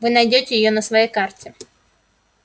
вы найдёте её на своей карте